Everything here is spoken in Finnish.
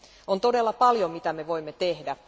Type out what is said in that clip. On todella paljon mitä me voimme tehdä.